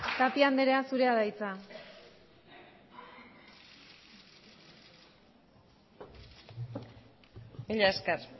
tapia andrea zurea da hitza mila esker